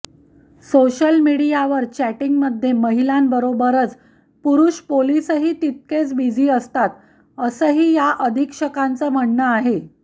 social मिडियावर चॅटींगमध्ये महिलांबरोबरच पुरुष पोलीसही तितकेच बिझी असतात असंही या अधिक्षकांचं म्हणणं आहे